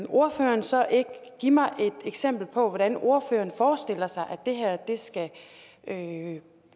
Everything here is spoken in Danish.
ordføreren så ikke give mig et eksempel på hvordan ordføreren forestiller sig at